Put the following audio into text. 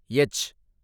H